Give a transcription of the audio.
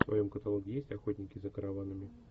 в твоем каталоге есть охотники за караванами